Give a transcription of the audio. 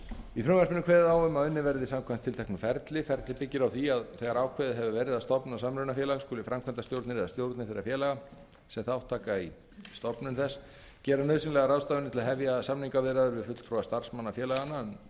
í frumvarpinu er kveðið á um að unnið verði samkvæmt tilteknu ferli ferlið byggir á því að þegar ákveðið hefur verið að stofna samrunafélag skuli framkvæmdastjórnir eða stjórnir þeirra félaga sem þátt taka í stofnun þess gera nauðsynlegar ráðstafanir til að hefja samningaviðræður við fulltrúa starfsmanna félaganna um tilhögun